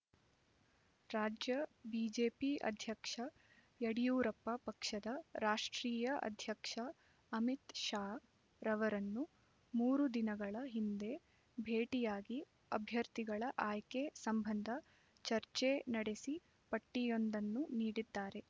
ರಾಜ್ಯ ಬಿಜೆಪಿ ಅಧ್ಯಕ್ಷ ಯಡಿಯೂರಪ್ಪ ಪಕ್ಷದ ರಾಷ್ಟ್ರೀಯ ಅಧ್ಯಕ್ಷ ಅಮಿತ್ ಶಾ ರವರನ್ನು ಮೂರು ದಿನಗಳ ಹಿಂದೆ ಭೇಟಿಯಾಗಿ ಅಭ್ಯರ್ಥಿಗಳ ಆಯ್ಕೆ ಸಂಬಂಧ ಚರ್ಚೆ ನಡೆಸಿ ಪಟ್ಟಿಯೊಂದನ್ನು ನೀಡಿದ್ದಾರೆ